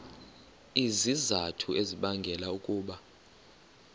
izizathu ezibangela ukuba